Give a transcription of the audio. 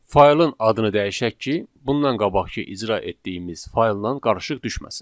Faylın adını dəyişək ki, bundan qabaqkı icra etdiyimiz fayldan qarışıq düşməsin.